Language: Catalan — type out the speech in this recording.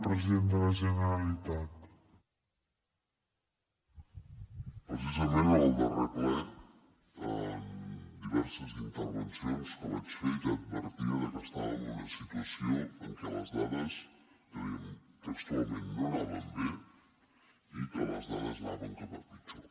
precisament en el darrer ple en diverses intervencions que vaig fer ja advertia que estàvem en una situació en què les dades i ho dèiem textualment no anaven bé i que les dades anaven cap a pitjor